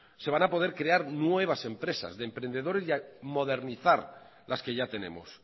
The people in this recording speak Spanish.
se van a poder crear nuevas empresas de emprendedores y modernizar las que ya tenemos